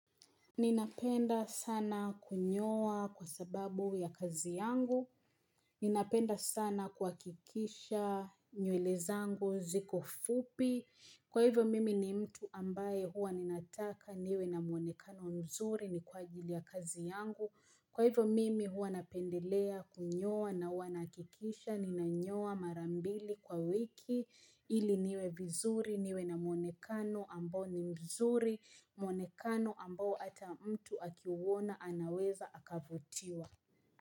Ninapenda sana kunyoa kwa sababu ya kazi yangu. Ninapenda sana kuhakikisha nywele zangu ziko fupi. Kwa hivyo mimi ni mtu ambaye huwa ninataka niwe na muonekano mzuri ni kwa ajili ya kazi yangu. Kwa hivo mimi huwa napendelea kunyoa na huwa nahakikisha ninanyoa mara mbili kwa wiki ili niwe vizuri niwe na muonekano ambao ni mzuri muonekano ambao ata mtu akiuona anaweza akavutiwa.